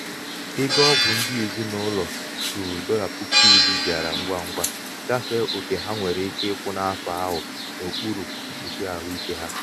ego ọgwụ ndị ezinụlọ ruru dolla puku iri bịara ngwa ngwa gafee oke ha nwere ike ịkwụ n'afọ ahụ n'okpuru mkpuchi ahụike ha.